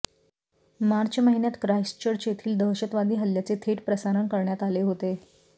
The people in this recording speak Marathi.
मार्च महिन्यात ख्राइस्टचर्च येथील दहशतवादी हल्ल्याचे थेट प्रसारण करण्यात आले होते